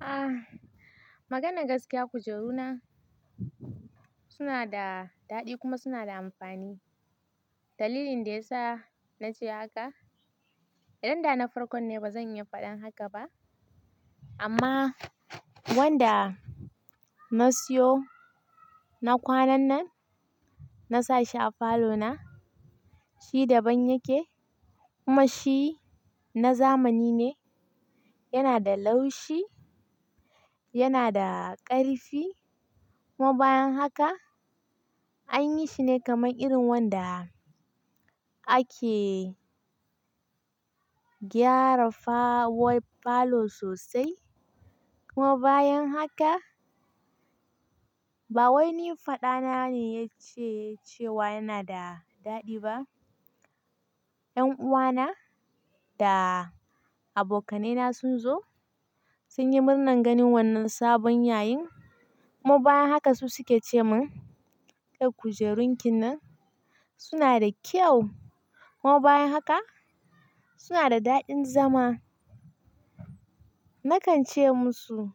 Ah, maganar gaskiya kujeru na suna da daɗi kuma suna da amfani. Dalilin da ya sa na ce haka, idan da na farko ne ba zan yi faɗan haka ba amma wanda na siyo na kwanan nan, na sa shi a falo na, shi daban yake kuma shi na zamani ne. Yana da laushi, yana da ƙarfi kuma bayan haka an yi shi ne kamar irin wanda ake gyara fa-- way farlow sosai. Kuma bayan haka ba wai ni faɗa na ne ya ce, cewa yana da daɗi ba. 'Yan uwana da abokanai na sun zo sun yi murnan ganin wannan sabon yayin kuma bayan haka su suke ce min, "Eh kujerun ki nan suna da kyau kuma bayan haka suna da daɗin zama." Na kan ce musu,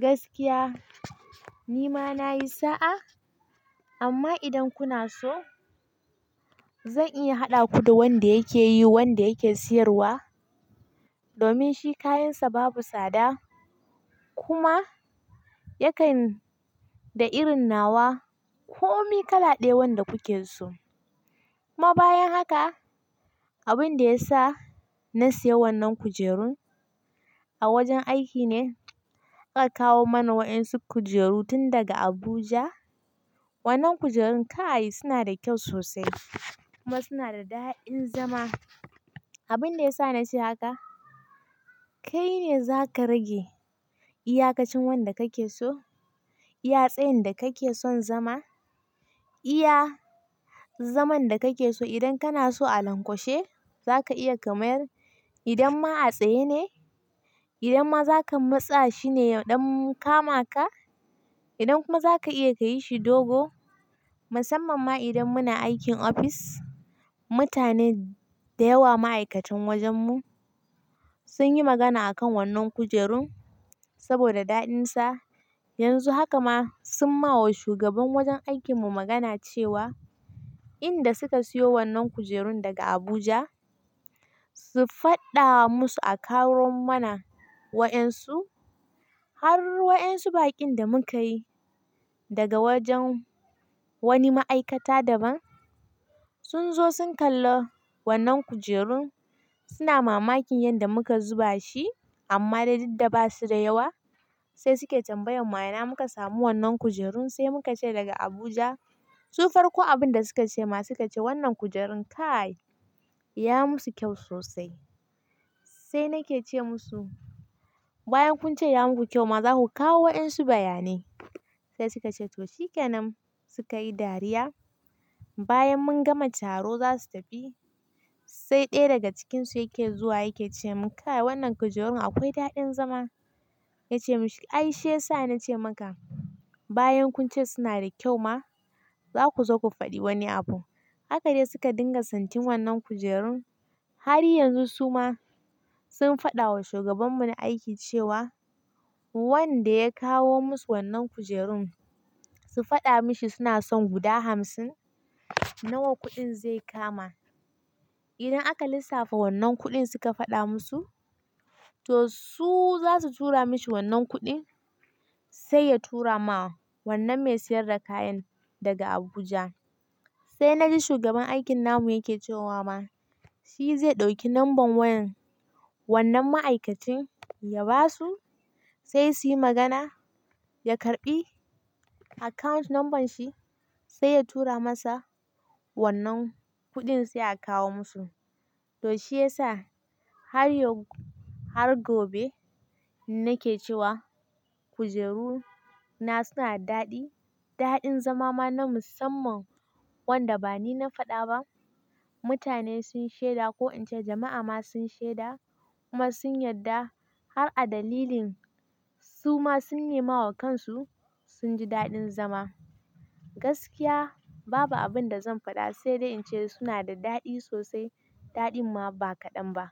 "Gaskiya ni ma na yi sa'a amma idan kuna so zan iya haɗa ku da wanda yake yi, wanda yake siyarwa domin shi kayansa babu tsada kuma yakan da irin nawa ko mi kala ɗaya wanda kuke so." Kuma bayan haka abin da ya sa na sayi wannan kujerun a wajen aiki ne aka kawo mana wa'ansun kujeru tun daga Abuja. Wannan kujerun kai suna da kyau sosai kuma suna da daɗin zama. Abin da ya sa na ce haka kai ne za ka rage iyaka cin wanda ka ke so, iya tsayin da ka ke son zama, iya zaman da ka ke so idan kana so a lankwashe za ka iya kamar idan ma a tsaye ne, idan ma za ka matsa shi ne yaɗon kama ka, idan kuma za ka iya ka yi shi dogo. Musamman ma idan muna aikin ofis, mutane da yawa ma'aikatan wajen mu sun yi magana akan wannan kujerun saboda daɗinsa. Yanzu haka ma sun ma wa shugaban wajen aikin mu magana cewa in da suka siyo wannan kujerun daga Abuja su faɗa wa musu a kawo mana wa'ansun har wa'ansun baƙin da muka yi daga wajen wani ma'aikata daban. Sun zo sun kalla wannan kujerun suna mamakin yanda muka zuba shi amma da daddaba su da yawa sai suke tambayan wa yana muka samu wannan kujerun sai muka ce daga Abuja. Su farko abin da suka ce ma suka ce wannan kujerun kai ya musu kyau sosai. Sai na ke ce musu, "Bayan kun ce ya muku kyau ma za ku kawo wa'ansu bayani." Sai suka ce, "To shikenan." Suka yi dariya bayan mun gama taro za su tafi sai ɗaya daga cikinsu yake zuwa yake ce mun, "Ka'i wannan kujerun akwai daɗin zama." Na ce, "Ai shi ya sa na ce maka bayan kun ce suna da kyau ma za ku zo ku faɗi wani abu." Haka ne suka dinga santin wannan kujerun har yanzu su ma sun faɗa wa shugaban mu na aiki cewa wanda ya kawo musu wannan kujerun su faɗa mishi suna son guda hamsin nawa kuɗin zai kama. Idan aka lissafa wannan kuɗin suka faɗa musu to su za su tura mishi wannan kuɗin sai ya tura ma wannan mai siyar da kayan daga Abuja. Sai na ji shugaban aikin namu yake cewa ma shi zai ɗauki number wayan wannan ma'aikacin ya ba su sai su yi magana ya karɓi account number shi sai ya tura masa wannan kuɗin sai a kawo musu. To shi ya sa har yau-- har gobe nake cewa kujeru na suna daɗi, daɗin zama ma na musamman wanda ba ni na faɗa ba. Mutane sun shaida ko in ce jama'a ma sun shaida kuma sun yarda har a dalilin su ma sun nema wa kansu sun ji daɗin zama. Gaskiya babu abin da zan faɗa sai dai in ce suna da daɗi sosai daɗin ma ba kaɗan ba.